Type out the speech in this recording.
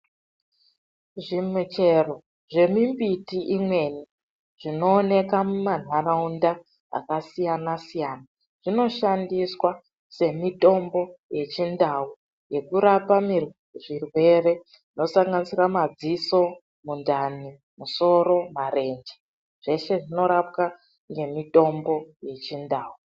Zvimuchero zvemimbiti imweni zvinooneka mumantaraunda akasiyana siyana zvinoshandiswa semitombo yechindau yekurapa zvirwere zvinosnganisira madziso, mundani, musoro, marenje zvese zvinorapwa nemitombo yechindau.